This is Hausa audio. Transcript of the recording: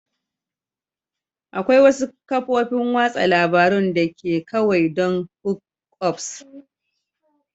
Akwai wasu kafofin watsa labarun da ke kawai don hookups